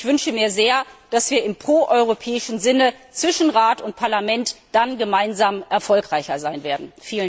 Ich wünsche mir sehr, dass wir im proeuropäischen Sinne zwischen Rat und Parlament dann gemeinsam erfolgreicher sein werden.